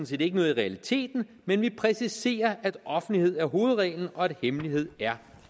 set ikke noget i realiteten men vi præciserer at offentlighed er hovedreglen og at hemmelighed er